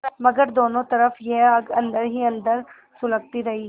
मगर दोनों तरफ यह आग अन्दर ही अन्दर सुलगती रही